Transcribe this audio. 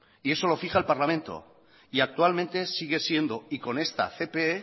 y eso lo fija el parlamento y actualmente sigue siendo y con esta cpe